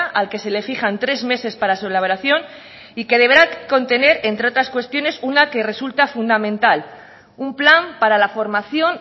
al que se le fijan tres meses para su elaboración y que deberá contener entre otras cuestiones una que resulta fundamental un plan para la formación